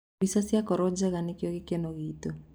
Mbica ciakorwo njega nĩkĩo gĩkeno gitũ.